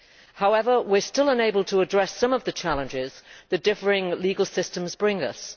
However, we are still unable to address some of the challenges the differing legal systems bring us.